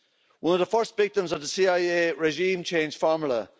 one of the first victims of the CIA regime change formula.